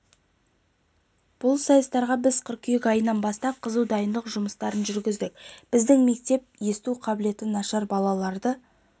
бұл сайыстарға біз қыркүйек айынан бастап қызу дайындық жұмыстарын жүргіздік біздің мектеп есту қабілеті нашар балаларды